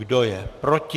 Kdo je proti?